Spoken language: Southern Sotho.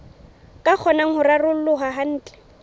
ka kgonang ho raroloha kantle